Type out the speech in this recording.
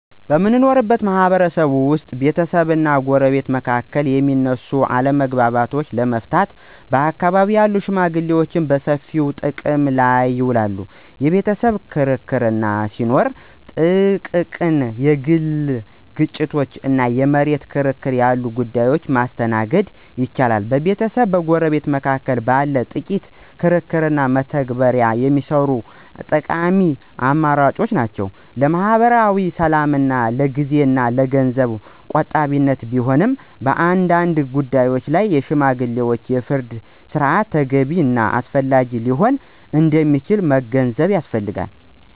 በምንኖርበት ማህበረሰብ ውስጥ ቤተሰብና ጎረቤት መካከል የሚነሱ አለመግባባቶችን ለመፍታት በአካባቢው ያሉ ሽመግሌዎችን በሰፊው ጥቅም ላይ ይውላሉ። የቤተሰብ ክርክር ሲኖር፣ ጥቃቅን የግል ግጭቶች እና የመሬት ክርክር ያሉ ጉዳዮችን ማስተናገድ ይችላሉ። በቤተሰብና በጎረቤት መካከል ባለ ጥቂት ክርክር በተግባር የሚሰሩ እና ጠቃሚ አማራጮች ናቸው። ለማኅበራዊ ሰላምና ለጊዜ እና ለገንዘብ ቆጣቢነት ቢሆንም፣ በአንዳንድ ጉዳዮች ላይ የሽማግሌዎች የፍርድ ሥርዓት ተገቢ እና አስፈላጊ ሊሆን እንደሚችል መገንዘብ ያስፈልጋል።